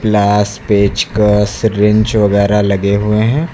Dash पेचकस wrench वगैरा लगे हुए हैं।